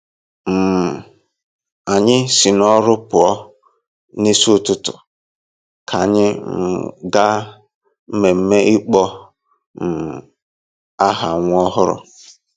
um Anyị si n'ọrụ pụọ n'isi ụtụtụ ka anyị um gaa mmemme ịkpọ um aha nwa ọhụrụ.